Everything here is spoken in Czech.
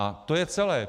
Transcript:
A to je celé.